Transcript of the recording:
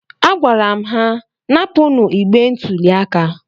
Agwara m ha, napụnụ igbe ntụli aka